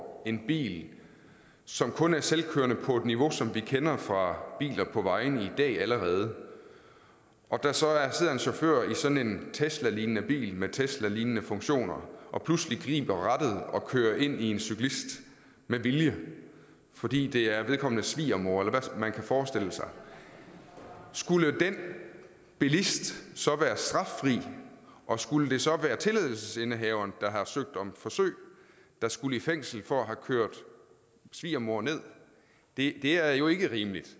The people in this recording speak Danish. en bil som kun er selvkørende på et niveau som vi kender fra biler på vejene i dag allerede og der så sidder en chauffør i sådan en teslalignende bil med teslalignende funktioner og pludselig griber rattet og kører ind i en cyklist med vilje fordi det er vedkommendes svigermor eller hvad man kan forestille sig skulle den bilist så være straffri og skulle det så være tilladelsesindehaveren der har søgt om forsøg der skulle i fængsel for at have kørt svigermor ned det er jo ikke rimeligt